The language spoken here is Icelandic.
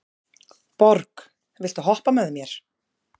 Borg, viltu hoppa með mér?